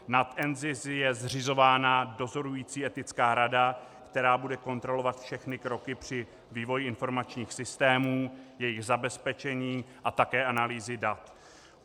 Na NZIS je zřizována dozorující etická rada, která bude kontrolovat všechny kroky při vývoji informačních systémů, jejich zabezpečení a také analýzy dat.